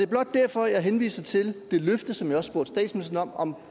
blot derfor at jeg henviser til det løfte som jeg også spurgte statsministeren om